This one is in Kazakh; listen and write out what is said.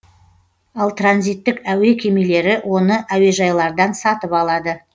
ал транзиттік әуе кемелері оны әуежайлардан сатып алады